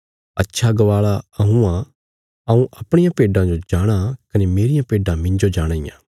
अच्छा गवाल़ा हऊँ आ हऊँ अपणियां भेड्डां जो जाणाँ कने मेरियां भेड्डां मिन्जो जाणाँ इयां